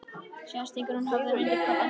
Síðan stingur hún höfðinu undir koddann sinn.